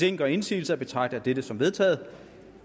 ingen gør indsigelse betragter jeg dette som vedtaget